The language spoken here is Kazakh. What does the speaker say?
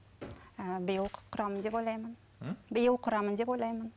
ііі биыл құрамын деп ойлаймын биыл құрамын деп ойлаймын